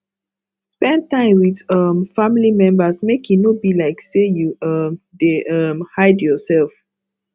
spend time with um family members make e no be like sey you um dey um hide yourself